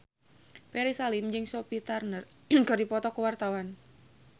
Ferry Salim jeung Sophie Turner keur dipoto ku wartawan